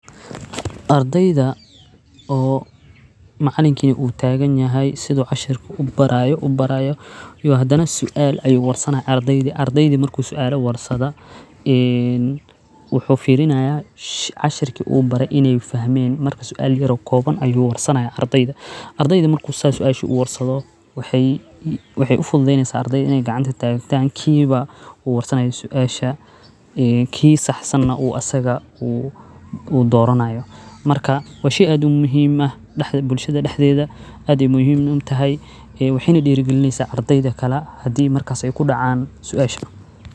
Ardayda oo macalinkii u taagan yahay sidoo casharku u barayo u barayo. Iyo haddana su'aal ay u warsanaya ardayda ardayda markuu su'aalo warsada in waxuu fiirinayo casharki uu baray inay fahmeen marka su'aal jiro kooban ayuu warsanaya ardayda ardayda markuu saas su'aashu u warsado waxay waxay u fududeynaysa ardayd inay gacanta taagantaan kiiba u wadsanaya su'aasha i kii saxsanna uu asaga uu u dooronayo marka wa shey aad muhiim ah dhaxda bulshada dhaxdeeda. Adii muhiim u tahay ee waxaanay dhiirigalineysa ardayda kala hadii markaas ay ku dhacaan su'aashu.